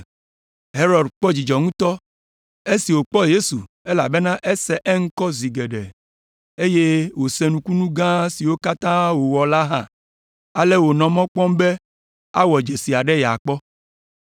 Herod kpɔ dzidzɔ ŋutɔ esi wòkpɔ Yesu elabena ese eŋkɔ zi geɖe, eye wòse nukunu gã siwo katã wòwɔ la hã, ale wònɔ mɔ kpɔm be awɔ dzesi aɖe yeakpɔ.